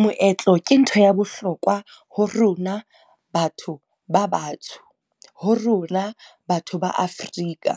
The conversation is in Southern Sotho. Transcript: Moetlo ke ntho ya bohlokwa ho rona batho ba batsho, ho rona batho ba Afrika.